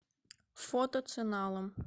фото ценалом